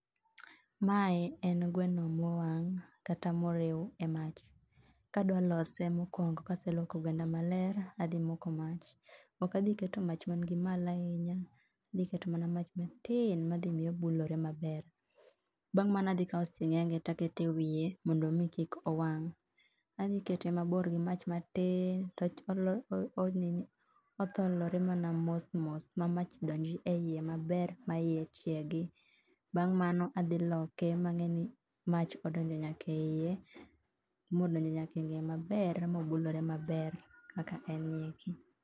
mae en gweno mowang kata morew e mach kadwa lose mokwongo kaselwoko gwenda maler adhi moko mach okadhi keto mach okadhi keto mach man gi malo ahinya adhiketo mana mach atin madhimiyo obulore maber bang mano adhikao singenge takete wiye mondo mii kik owang adhikete mabor gi mach matin to otholore mane mosmos ma mach donj eiye maber maiye chiegi bang mano adhiloke mangeni mach odonjo nyaka eiye modonjo nyakengee maber mobulore maber kaka en ni eki